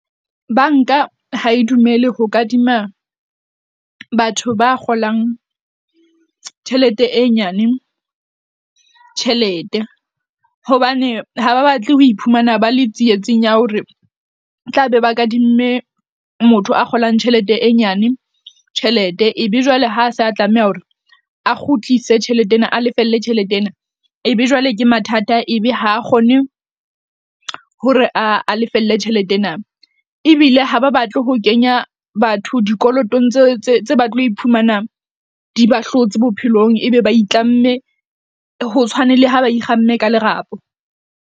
Bank-a ha e dumele ho kadima batho ba kgolang tjhelete e nyane tjhelete, hobane ha ba batle ho iphumana ba le tsietsing ya hore tla be ba kadimme motho a kgolang tjhelete e nyane tjhelete. Ebe jwale ha sa tlameha hore a kgutlise tjhelete ena, a lefelle tjhelete ena. Ebe jwale ke mathata, ebe ha kgone hore a lefelle tjhelete ena ebile ha ba batle ho kenya batho dikolotong tse tse tse ba tlo iphumana di ba hlotse bophelong, ebe ba itlamme ho tshwane le ha ba ikgamme ka lerapo.